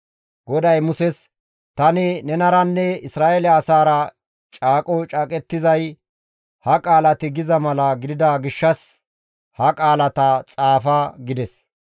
GODAY Muses, «Tani nenaranne Isra7eele asaara caaqo caaqettizay ha qaalati giza mala gidida gishshas ha qaalata xaafa» gides.